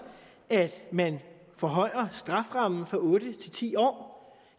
at man forhøjer strafferammen fra otte til ti år